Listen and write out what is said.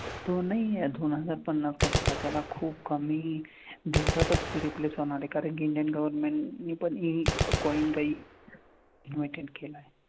तो नाही दोन हजार पन्नास कशाला त्या ना खूप कमी दिवसातच replace होणार आहे कारण कि इंडियन government नी पण हे coin काही केला आहे.